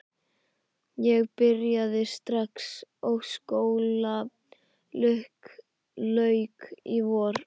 Ég byrjaði strax og skóla lauk í vor.